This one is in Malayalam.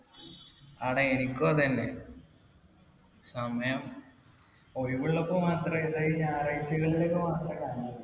ആടാ. എനിക്കും അത് തന്നെ. സമയം. ഒഴിവുള്ളപ്പോ മാത്ര, ഈ ഞായറാഴ്ചകളിൽ മാത്രേ കാണാറുള്ളു